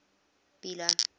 bela